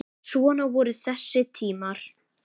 Svona voru þessi tímar.